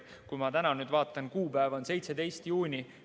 Kui ma täna vaatan, siis kuupäev on 17. juuni.